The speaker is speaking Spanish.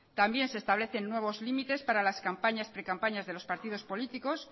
también se establecen nuevos límites para las campañas precampañas de los partido políticos